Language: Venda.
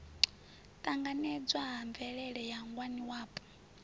ṱanganedzwa ha mvelele ya ngwaniwapo